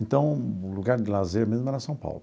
Então, o lugar de lazer mesmo era São Paulo.